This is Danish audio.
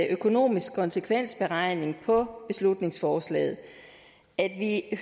økonomisk konsekvensberegning på beslutningsforslaget at